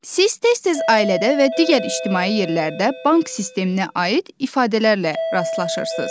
Siz tez-tez ailədə və digər ictimai yerlərdə bank sisteminə aid ifadələrlə rastlaşırsınız.